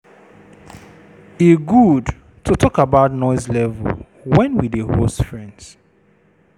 E good to talk about noise level wen we dey host friends.